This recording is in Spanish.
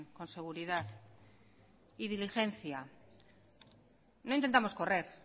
con seguridad y diligencia no intentamos correr